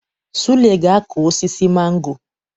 Sule ga-akụ osisi mango